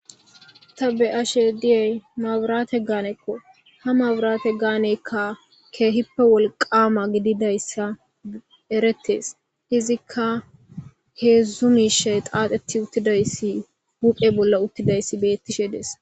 Ta be'ashe diyey mabirate gaanekko ha mabirate gaanekka keehippe wolqama gididayssa eretes izikka heedzdzu miishe qaaxetti uttidayssi wuphe bolla uttidayssi beettishe dees.